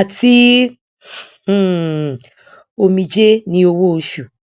àti um omijé ni owóoṣù